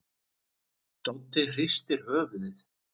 Doddi hristir höfuðið.